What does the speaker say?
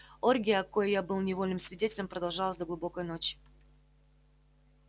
оргия коей я был невольным свидетелем продолжалась до глубокой ночи